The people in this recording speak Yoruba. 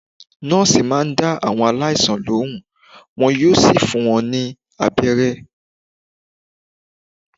Nọ́ọ̀sì máà ń dá àwọn aláìsàn lohùn, wọn yóò sì fún wọn ní abẹ́rẹ́.